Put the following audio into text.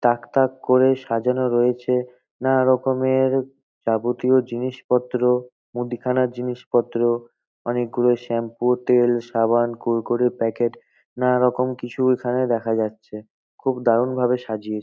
তাক তাক করে সাজানো রয়েছে নানা রকমের যাবতীয় জিনিসপত্র মুদিখানার জিনিসপত্র অনেকগুলো শ্যাম্পু তেল সাবান কুড়কুড়ের প্যাকেট নানা রকম কিছু এখানে দেখা যাচ্ছে। খুব দারুন ভাবে সাজিয়েচ --